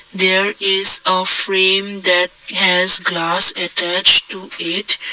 there is a frame that has glass attach to it.